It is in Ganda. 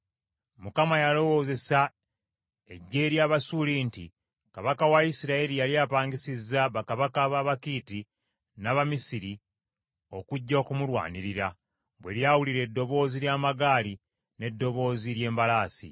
Mukama yalowozesa eggye ly’Abasuuli nti kabaka wa Isirayiri yali apangisizza bakabaka b’Abakiiti n’ab’Abamisiri okujja okumulwanirira, bwe lyawulira eddoboozi ly’amagaali n’eddoboozi ly’embalaasi.